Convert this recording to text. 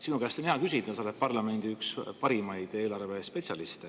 Sinu käest on hea küsida, sa oled parlamendi üks parimaid eelarvespetsialiste.